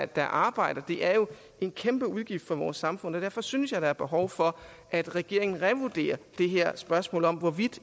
der arbejder det er jo en kæmpe udgift for vores samfund og derfor synes jeg der er behov for at regeringen revurderer det her spørgsmål om hvorvidt